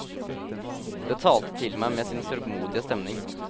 Det talte til meg med sin sørgmodige stemning.